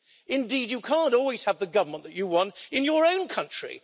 Indeed, you can't always have the government that you want in your own country.